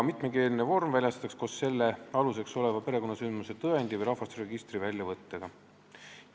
Mitmekeelne vorm väljastatakse koos selle aluseks oleva perekonnasündmuse tõendi või rahvastikuregistri väljavõttega.